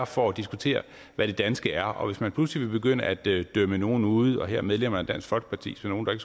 for at diskutere hvad det danske er og hvis man pludselig vil begynde at dømme dømme nogen ude her medlemmerne af dansk folkeparti som nogen